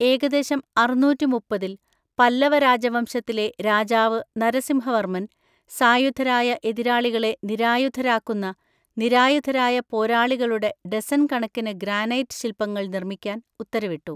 ഏകദേശം അറുന്നൂറ്റിമുപ്പത്തിൽ പല്ലവ രാജവംശത്തിലെ രാജാവ് നരസിംഹവർമ്മൻ, സായുധരായ എതിരാളികളെ നിരായുധരാക്കുന്ന, നിരായുധരായ പോരാളികളുടെ ഡസൻ കണക്കിന് ഗ്രാനൈറ്റ് ശിൽപങ്ങൾ നിർമ്മിക്കാൻ ഉത്തരവിട്ടു.